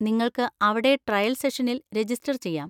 നിങ്ങൾക്ക് അവിടെ ട്രയൽ സെഷനിൽ രജിസ്റ്റർ ചെയ്യാം.